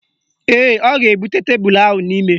Ee, ọ ga-ebute tebelu ahụ n'ime.